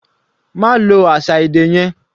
Ma lo àṣà èdè yẹn.